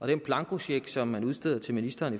den blankocheck som man udsteder til ministeren